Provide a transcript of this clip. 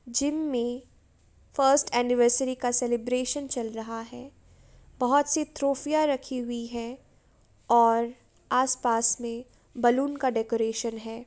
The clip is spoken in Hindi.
जिम में फर्स्ट एनिवर्सरी का सेलिब्रेशन चल रहा है। बहोत सी ट्रॉफीया रखी हुई हैं और आस पास में बलून का डेकोरेशन है।